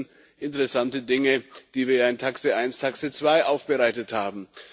Auch das sind interessante Dinge, die wir in TAXE 1 und TAXE 2 aufbereitet haben.